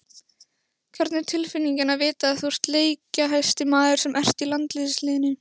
Hvernig er tilfinningin að vita að þú ert leikjahæsti maðurinn sem ert í landsliðinu?